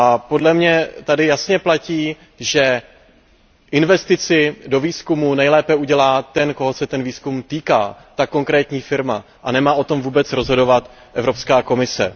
Podle mě tady jasně platí, že investici do výzkumu nejlépe udělá ten, koho se ten výzkum týká, tedy konkrétní firma a nemá o tom vůbec rozhodovat Evropská komise.